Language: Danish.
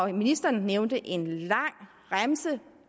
ministeren nævnte en lang remse